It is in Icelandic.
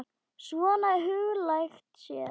Svona huglægt séð.